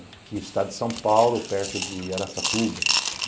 Aqui, o estado de São Paulo, perto de Araçatuba.